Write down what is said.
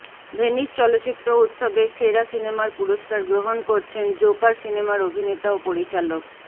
Venice চলচ্চিত্র উৎসবে সেরা সিনেমার পুরষ্কার গ্রহণ করছেন জোকার সিনেমার অভিনেতা ও পরিচালক